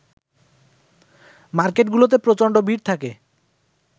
মার্কেটগুলোতে প্রচণ্ড ভিড় থাকে